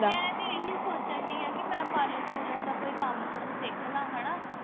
ਮੈਂ ਤੇ ਇਹੀ ਸੋਚਣ ਦਈ ਆ ਕਿ ਮੈਂ parlor ਪੂਰਲਰ ਦਾ ਕੋਈ ਕੰਮ ਕੁੰਮ ਸਿੱਖ ਲਾ ਹਣਾ